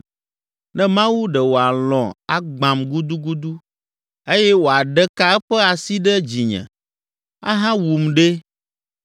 ne Mawu ɖe wòalɔ̃ agbãm gudugudu eye wòaɖe ka eƒe asi ɖe dzinye, ahawum ɖe!